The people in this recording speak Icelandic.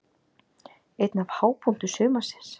Einn af hápunktum sumarsins.